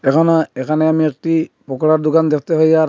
এখানেও এখানে আমি একটি পকোড়ার দোকান দেখতে পাই আর--